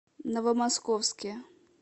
новомосковске